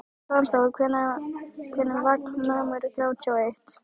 Svanþór, hvenær kemur vagn númer þrjátíu og eitt?